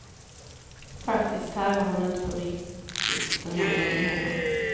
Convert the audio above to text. Faktiskt tävlar hon inte på riktigt den här gången heller.